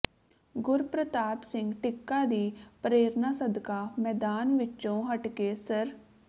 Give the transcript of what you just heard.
ਗੁਰਪ੍ਰਤਾਪ ਸਿੰਘ ਟਿੱਕਾ ਦੀ ਪ੍ਰੇਰਨਾ ਸਦਕਾ ਮੈਦਾਨ ਵਿੱਚੋਂ ਹਟਕੇ ਸ੍ਰ